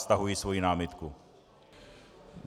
Stahuji svoji námitku.